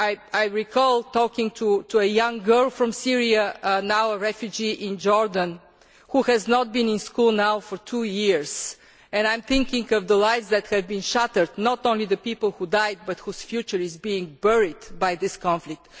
I recall talking to a young girl from Syria, now a refugee in Jordan, who has not been to school for two years, and I am thinking of the lives that have been shattered, not only the people who died but those whose future is being buried by this conflict.